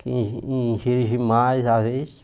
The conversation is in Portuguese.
Que exi exigem mais, às vezes.